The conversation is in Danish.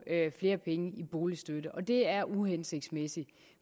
flere penge i boligstøtte det er uhensigtsmæssigt